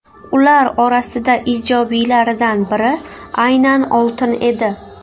Ular orasida ijobiylaridan biri aynan oltin edi.